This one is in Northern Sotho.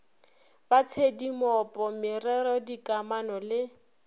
ba tshedimopo merero dikamano le